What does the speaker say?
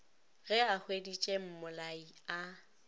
ge a hweditše mmolai a